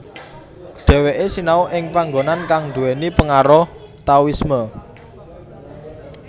Dheweke sinau ing panggonan kang duwéni pengaruh Taoisme